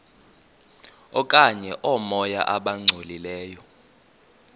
okanye oomoya abangcolileyo